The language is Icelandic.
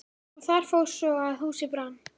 Og það fór svo að húsið brann.